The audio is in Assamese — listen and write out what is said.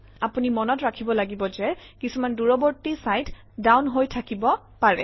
আপুনি মনত ৰাখিব লাগিব যে কিছুমান দূৰৱৰ্তী চাইট ডাউন হৈ থাকিব পাৰে